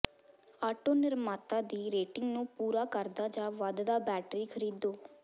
auto ਨਿਰਮਾਤਾ ਦੀ rating ਨੂੰ ਪੂਰਾ ਕਰਦਾ ਜਾਂ ਵੱਧਦਾ ਬੈਟਰੀ ਖਰੀਦੋ